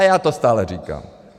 A já to stále říkám.